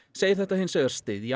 segir þetta hins vegar styðja